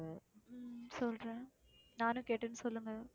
உம் சொல்றேன் நானும் கேட்டேன்னு சொல்லுங்க